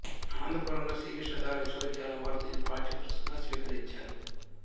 అనంతపురం లోని శ్రీకృష్ణదేవరాయ విశ్వవిద్యాలయం వారు దీనిని పాఠ్యపుస్తకంగా స్వీకరించారు